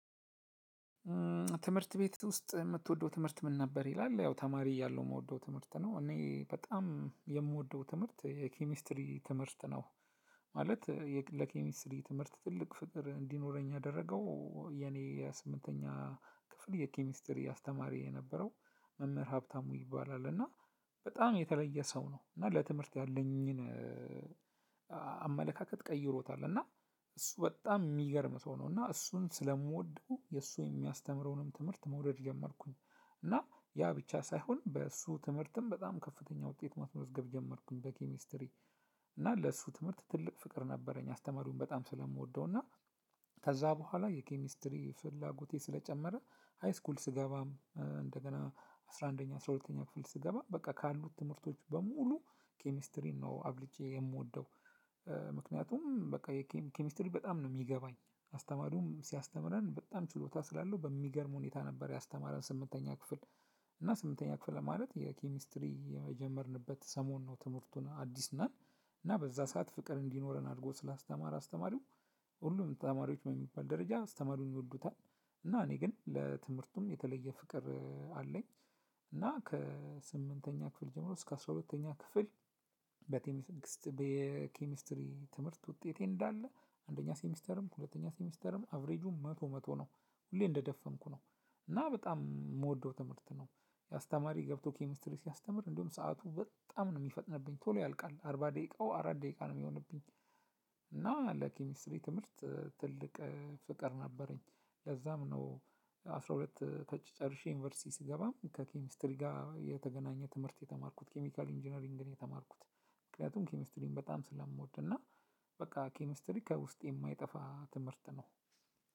ትምህርት ቤት ውስጥ የምትወደው ትምህርት ምን ነበር ይላል ያው ተማሪ እያለው የምወደው ትምህርት ነው እኔ በጣም የምወደው ትምህርት የኬሚስትሪ ትምህርት ነው። ማለት ለኬሚስትሪ ትምህርት ትልቅ ፍቅር እንዲኖረኝ ያደረገው የኔ የስምንተኛ ክፍል የኬሚስትሪ አስተማሪ የነበረው መምህር ሀብታሙ ይባላል እና በጣም የተለየ ሰው ነው። እና ለትምህርት ያለኝን ቀይሮታል እና እሱ በጣም የሚገርም ሰው ነው እና እሱን ስለምወደው የእሱ የሚያስተምረውንም ትምህርት መውደድ ጀመርኩኝ። እና ያ ብቻ ሳይሆን በእሱ ትምህርትም በጣም ከፍተኛ ውጤት ማስመዝገብ ጀመርኩኝ በኬሚስትሪ። እና ለሱ ትምህርት ትልቅ ፍቅር ነበረኝ አስተማሪውን በጣም ስለምወደው እና። ከዛ በኋላ የኬሚስትሪ ፍላጎቴ ስለጨመረ ሃይስኩል ስገባም እንደገና አስራ አንደኛ አስራ ሁለተኛ ክፍል ስገባ በቃ ካሉት ትምህርቶች በሙሉ ኬሚስትሪን ነው አብልጬ የምወደው። ምክንያቱም በቃ ኬሚስትሪ በጣም ነው የሚገባኝ አስተማሪውም ሲያስተምረን በጣም ችሎታ ስላለው በሚገርም ሁኔታ ነበር ያስተማረን ስምንተኛ ክፍል። እና ስምንተኛ ክፍል ማለት የኬሚስትሪ የጀመርንበት ሰሞን ነው ትምህርቱ እና አዲስ ነን። እና በዛ ሰዓት ፍቅር እንዲኖረን አድርጎ ስላስተማረ አስተማሪው ሁሉም ተማሪዎች በሚባል ደረጃ አስተማሪውን ይወዱታል። እና እኔ ግን ለትምህርቱም የተለየ ፍቅር አለኝ። እና ከስምንተኛ ክፍል ጀምሮ እስከ አስራ ሁለተኛ ክፍል። በኬሚስትሪ ትምህርት ውጤቴ እንዳለ አንደኛ ሴሚስተርም ሁለተኛ ሴሚስተርም አቭሬጁም መቶ መቶ ነው። ሁሌ እንደደፈንኩ ነው። እና በጣም የምወደው ትምህርት ነው። አስተማሪ ገብቶ ኬሚስትሪ ሲያስተምር እንዲሁም ሰዓቱ በጣም ነው የሚፈጥነብኝ ቶሎ ያልቃል አርባ ደቂቃው አራት ደቂቃ ነው የሚሆንብኝ። እና ለኪሚስትሪ ትምህርት ትልቅ ፍቅር ነበረኝ። ለዛም ነው። አስራ ሁለት ተጭ ጨርሼ ዩኒቨርሲቲ ስገባም ከኬሚስትሪ ጋር የተገናኘ ትምህርት የተማርኩት ኬሚካል ኢንጂነሪንግ ነው የተማርኩት። ምክንያቱም ኬሚስትሪን በጣም ስለምወድ እና በቃ ኬሚስትሪ ከውስጥ የማይጠፋ ትምህርት ነው።